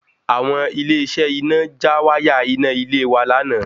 Àwọn Ilé iṣẹ iná já wáyà iná ilé wa lánàá